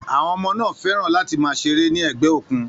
Àwọn ọmọ náà fẹ́ràn láti máa ṣeré ní ẹ̀gbẹ́ òkun.